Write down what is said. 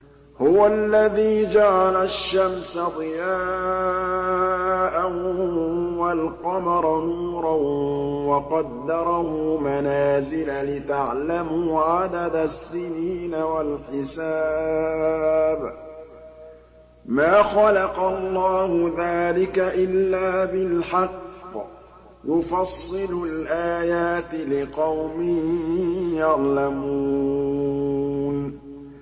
هُوَ الَّذِي جَعَلَ الشَّمْسَ ضِيَاءً وَالْقَمَرَ نُورًا وَقَدَّرَهُ مَنَازِلَ لِتَعْلَمُوا عَدَدَ السِّنِينَ وَالْحِسَابَ ۚ مَا خَلَقَ اللَّهُ ذَٰلِكَ إِلَّا بِالْحَقِّ ۚ يُفَصِّلُ الْآيَاتِ لِقَوْمٍ يَعْلَمُونَ